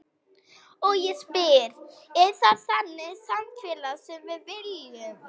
Og ég spyr, er það þannig samfélag sem við viljum?